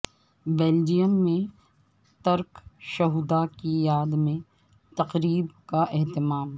Belgium میں ترک شہدا کی یاد میں تقریب کا اہتمام